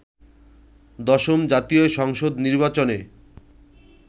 দশম জাতীয় সংসদ নির্বাচনে